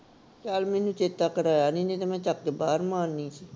ਚੱਲ ਮੈਨੂੰ ਚੇਤਾ ਕਰਾਇਆ ਨੀ ਨਹੀਂ ਤੇ ਮੈਂ ਚੱਕ ਕੇ ਬਾਹਰ ਮਾਰਨੀ ਸੀ